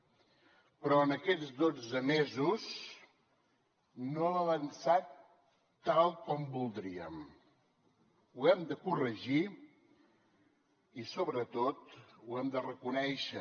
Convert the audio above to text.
però en aquests dotze mesos no hem avançat tal com voldríem ho hem de corregir i sobretot ho hem de reconèixer